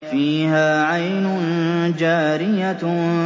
فِيهَا عَيْنٌ جَارِيَةٌ